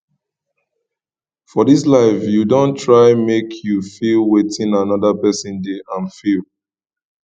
for dis life you don try make you feel wetin anoda pesin dey um feel